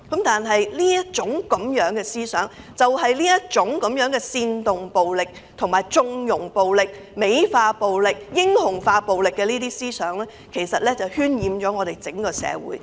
但這種思想，就是這種煽動暴力、縱容暴力、美化暴力及英雄化暴力的思想渲染了整個社會。